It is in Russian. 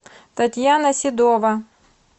татьяна седова